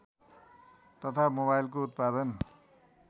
तथा मोबाइलको उत्पादन